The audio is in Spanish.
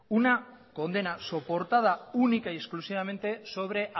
una condena soportada única y exclusivamente sobre